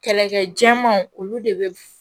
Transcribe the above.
Kɛlɛkɛ cɛmanw olu de bɛ